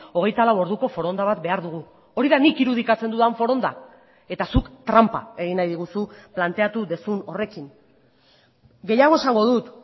hogeita lau orduko foronda bat behar dugu hori da nik irudikatzen dudan foronda eta zuk tranpa egin nahi diguzu planteatu duzun horrekin gehiago esango dut